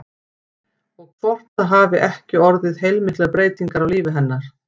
Og hvort það hafi ekki orðið heilmiklar breytingar á lífi hennar?